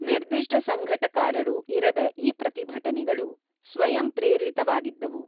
ನಿರ್ದಿಷ್ಟ ಸಂಘಟಕರಾರೂ ಇರದ ಈ ಪ್ರತಿಭಟನೆಗಳು ಸ್ವಯಂಪ್ರೇರಿತವಾಗಿದ್ದವು.